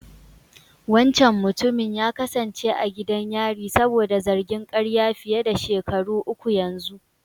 Wancan mutumin ya kasance a gidan yari saboda zargin ƙarya fiye da shekaru uku yanzu.